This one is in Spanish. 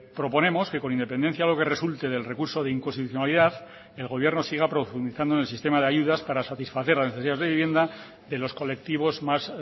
proponemos que con independencia a lo que resulte del recurso de inconstitucionalidad el gobierno siga profundizando en el sistema de ayudas para satisfacer la necesidad de vivienda de los colectivos más